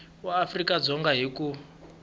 wa afrika dzonga hi ku